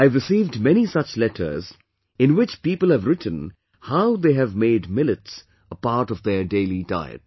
I have received many such letters in which people have written how they have made millets a part of their daily diet